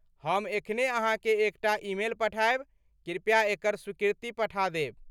हम एखने अहाँके एकटा ईमेल पठायब। कृपया एकर स्वीकृति पठा देब।